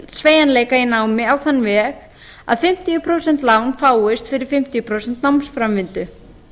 sveigjanleika á þann veg að fimmtíu prósent lán fáist fyrir fimm hundruð og fimm námsframvindu